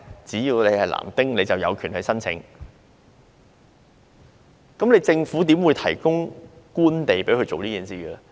只要你是男丁，你便有權申請興建丁屋，但政府為甚麼要提供官地給他們做這件事呢？